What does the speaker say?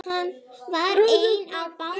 Hann var einn á báti.